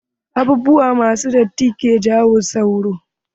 Abubuwa ma su datti ke jawo sauro.